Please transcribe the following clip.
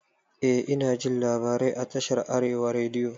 Eh inajin labarai a tashar arewa rediyo